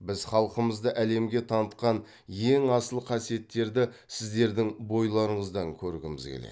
біз халқымызды әлемге танытқан ең асыл қасиеттерді сіздердің бойларыңыздан көргіміз келеді